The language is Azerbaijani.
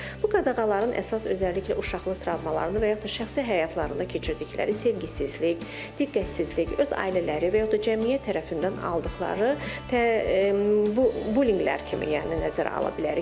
Bu qadağaların əsas, özəlliklə uşaqlıq travmalarını və yaxud da şəxsi həyatlarında keçirdikləri sevgisizlik, diqqətsizlik, öz ailələri və yaxud da cəmiyyət tərəfindən aldıqları bullinqlər kimi, yəni nəzərə ala bilərik.